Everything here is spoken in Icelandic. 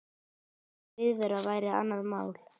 Aukin viðvera væri annað mál.